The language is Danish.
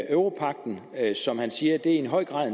europagten som han siger i høj grad